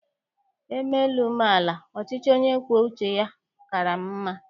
E mee elu, mee ala, ọchịchị onye kwuo uche ya kaara m mma.